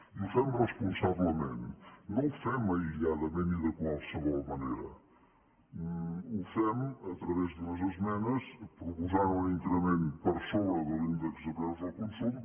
i ho fem responsablement no ho fem aïlladament i de qualsevol manera ho fem a través d’unes esmenes proposant un increment per sobre de l’índex de preus al consum